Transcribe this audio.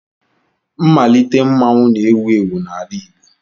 Mmalite mmanwụ na-ewu ewu n'ala igbo.